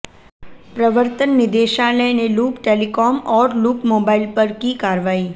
प्रवर्तन निदेशालय ने लूप टेलीकॉम और लूप मोबाइल पर की कार्रवाई